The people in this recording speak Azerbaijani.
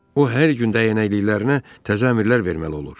O hər gün dəyənəklilərinə təzə əmrlər verməli olur.